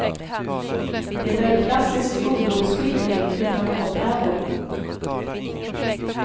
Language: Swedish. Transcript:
Det är en klassisk ungdomsskildring utan åthävor.